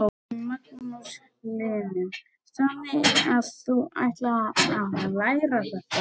Magnús Hlynur: Þannig að þú ætlar að læra þetta?